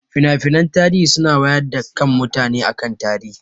Finafinai tarihi suna wayar da kan mutane akan tarihi